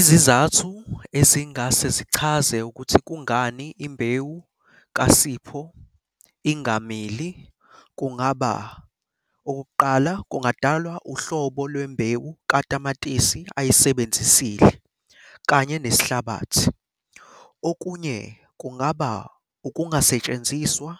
Izizathu ezingase zichaze ukuthi kungani imbewu kaSipho ingamili kungaba, okokuqala kungadalwa uhlobo lwembewu katamatisi ayisebenzisile kanye nesihlabathi. Okunye kungaba ukungasentshenziswa